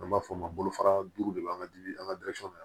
An b'a fɔ o ma bolofara duuru de b'an ka dimi an ka na